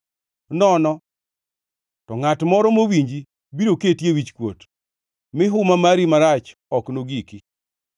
nono to ngʼat moro mowinji biro keti e wichkuot; mi huma mari marach ok nogiki.